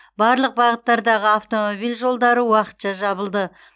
барлық бағыттардағы автомобиль жолдары уақытша жабылды